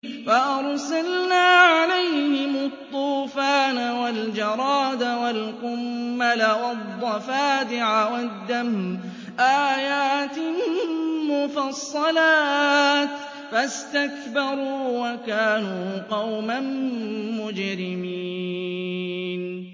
فَأَرْسَلْنَا عَلَيْهِمُ الطُّوفَانَ وَالْجَرَادَ وَالْقُمَّلَ وَالضَّفَادِعَ وَالدَّمَ آيَاتٍ مُّفَصَّلَاتٍ فَاسْتَكْبَرُوا وَكَانُوا قَوْمًا مُّجْرِمِينَ